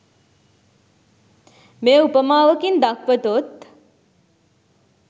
මෙය උපමාවකින් දක්වතොත්